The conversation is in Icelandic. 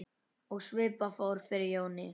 Og svipað fór fyrir Jóni.